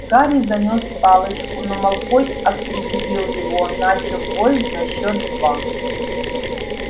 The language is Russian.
гарри занёс палочку но малфой опередил его начав бой на счёт два